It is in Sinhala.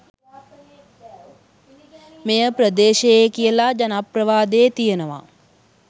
මෙය ප්‍රදේශයේ කියල ජනප්‍රවාදයේ තියෙනවා.